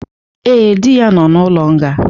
Ee, di ya nọ n'ụlo nga